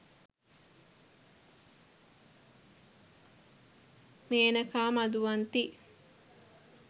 menaka maduwanthi